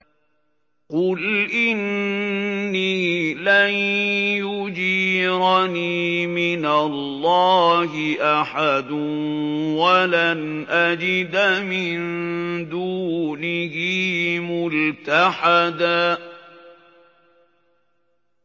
قُلْ إِنِّي لَن يُجِيرَنِي مِنَ اللَّهِ أَحَدٌ وَلَنْ أَجِدَ مِن دُونِهِ مُلْتَحَدًا